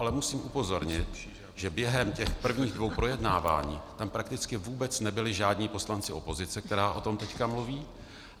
Ale musím upozornit, že během těch prvních dvou projednávání tam prakticky vůbec nebyli žádní poslanci opozice, která o tom teď mluví.